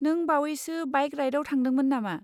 नों बावैसो बाइक राइडाव थांदोंमोन नामा?